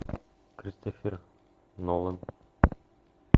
кристофер нолан